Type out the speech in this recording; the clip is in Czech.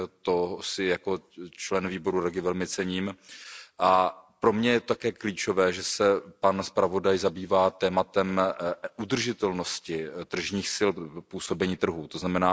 Toho si jako člen výboru REGI velmi cením a pro mne je také klíčové, že se pan zpravodaj zabývá tématem udržitelnosti tržních sil, působení trhu, tzn.